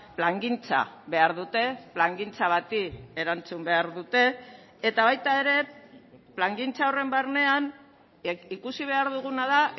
plangintza behar dute plangintza bati erantzun behar dute eta baita ere plangintza horren barnean ikusi behar duguna da